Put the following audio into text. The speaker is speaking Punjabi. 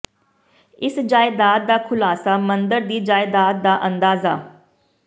ਇਸ ਜਾਇਦਾਦ ਦਾ ਖੁਲਾਸਾ ਮੰਦਰ ਦੀ ਜਾਇਦਾਦ ਦਾ ਅੰਦਾਜ਼ਾ